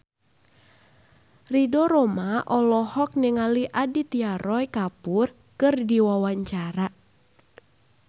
Ridho Roma olohok ningali Aditya Roy Kapoor keur diwawancara